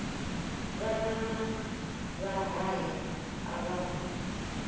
vhana na mahaya a vhana